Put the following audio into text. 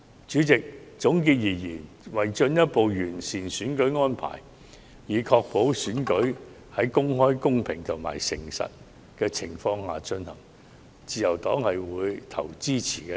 主席，總結上述各點，為了進一步完善選舉安排，以確保選舉在公開、公平和誠實的情況下進行，自由黨會表決支持。